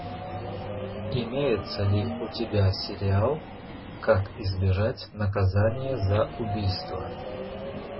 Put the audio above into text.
имеется ли у тебя сериал как избежать наказания за убийство